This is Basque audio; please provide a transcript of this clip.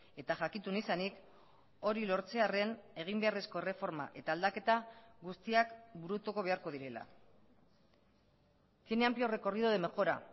eta jakitun izanik hori lortzearren egin beharrezko erreforma eta aldaketa guztiak burutuko beharko direla tiene amplio recorrido de mejora